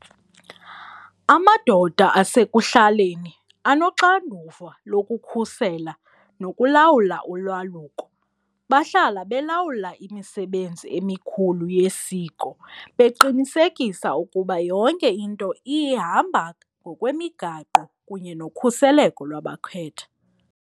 Amadoda asekuhlaleni anoxanduva lokukhusela nokulawula ulwaluko, bahlala belawula imisebenzi emikhulu yesiko beqinisekisa ukuba yonke into ihamba ngokwemigaqo kunye nokhuseleko lwabakhwetha.